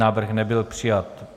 Návrh nebyl přijat.